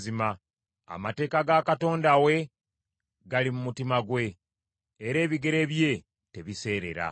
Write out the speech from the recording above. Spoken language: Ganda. Amateeka ga Katonda we gali mu mutima gwe, era ebigere bye tebiseerera.